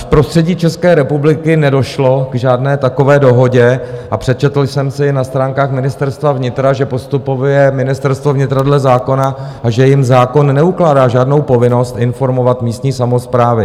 V prostředí České republiky nedošlo k žádné takové dohodě a přečetl jsem si na stránkách Ministerstva vnitra, že postupuje Ministerstvo vnitra dle zákona a že jim zákon neukládá žádnou povinnost informovat místní samosprávy.